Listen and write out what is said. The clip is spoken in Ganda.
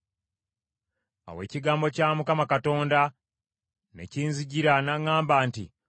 Awo ekigambo kya Mukama Katonda ne kinzijira n’aŋŋamba nti,